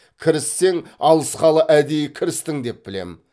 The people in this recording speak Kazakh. кіріссең алысқалы әдейі кірістің деп білемін